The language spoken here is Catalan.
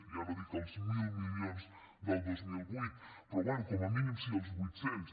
ja no dic els mil milions del dos mil vuit però bé com a mínim sí als vuit cents